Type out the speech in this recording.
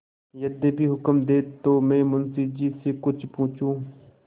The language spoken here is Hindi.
यदि हुक्म दें तो मैं मुंशी जी से कुछ पूछूँ